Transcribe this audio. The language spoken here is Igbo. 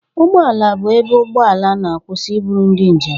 Ụgbọ ala bụ ebe ụgbọ ala na-akwụsị iburu ndị njem.